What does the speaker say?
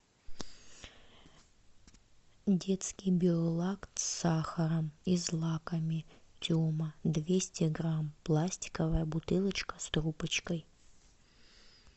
детский биолакт с сахаром и злаками тема двести грамм пластиковая бутылочка с трубочкой